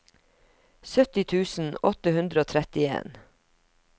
sytti tusen åtte hundre og trettien